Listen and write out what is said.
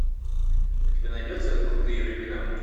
у тебя найдется крутые времена